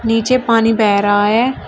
पीछे पानी बह रहा है।